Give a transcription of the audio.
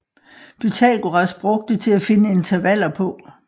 Pythagoras brugte til at finde intervaller på